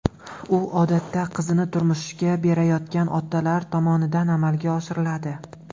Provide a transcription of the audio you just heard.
U odatda qizini turmushga berayotgan otalar tomonidan amalga oshiriladi.